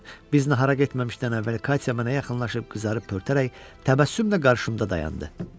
Biz nahara getməmişdən əvvəl Katya mənə yaxınlaşıb qızarıb pörtərək təbəssümlə qarşımda dayandı.